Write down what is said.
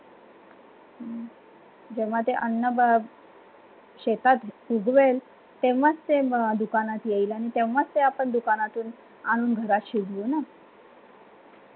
हम्म जेव्हा ते अननाबाद शेतात बुजवेल तेव्हा ते दुकानात येईल आणि तेव्हा आपण दुकानातून आणून घरात शिजवू न